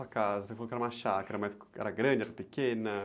a casa, você falou que era uma chácara, mas era grande, era pequena?